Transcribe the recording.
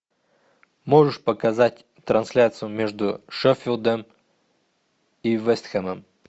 можешь показать трансляцию между шеффилдом и вест хэмом